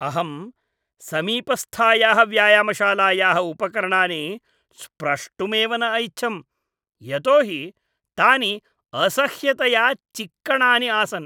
अहं समीपस्थायाः व्यायामशालायाः उपकरणानि स्प्रष्टुमेव न ऐच्छम्, यतो हि तानि असह्यतया चिक्कणानि आसन्।